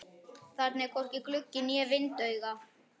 Þarna var hvorki gluggi né vindauga.